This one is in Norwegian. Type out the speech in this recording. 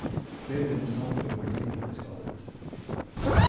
Flere demonstranter og politimenn ble skadet.